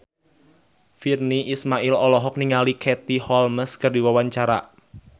Virnie Ismail olohok ningali Katie Holmes keur diwawancara